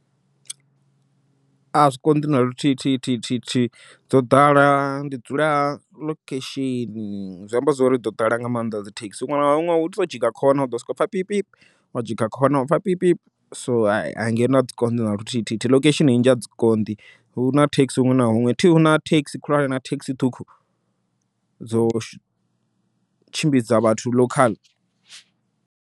A zwi konḓi na luthithithihi dzo ḓala ndi dzula ḽokhesheni, zwi amba zwori dzo ḓala nga maanḓa dzi thekhisi huṅwe na huṅwe utshi tou dzhiga kona u ḓo soko pfha pipipu wa dzhiga khona wa sokou pfha pipipu, so ha ngeno adzi konḓi na luthithithihi ḽokhesheni nnzhi a dzi konḓi, huna thekhisi huṅwe na huṅwe thi huna thekhisi khulwane huna thekhisi ṱhukhu, dzo tshimbidza vhathu ḽokhaḽa.